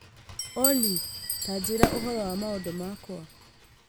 Olly ta njĩĩra ũhoro wa maũndũ makwa